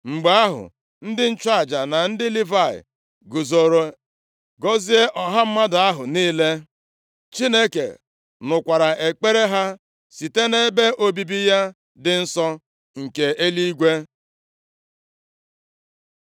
Mgbe ahụ, ndị nchụaja na ndị Livayị guzoro gọzie ọha mmadụ ahụ niile. Chineke nụkwara ekpere ha site nʼebe obibi ya dị nsọ nke eluigwe.